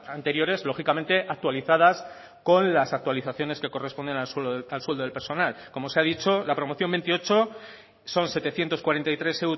anteriores lógicamente actualizadas con las actualizaciones que corresponden al sueldo del personal como se ha dicho la promoción veintiocho son setecientos cuarenta y tres